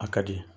A ka di